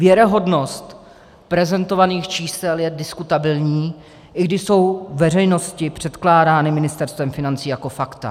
Věrohodnost prezentovaných čísel je diskutabilní, i když jsou veřejnosti předkládány Ministerstvem financí jako fakta.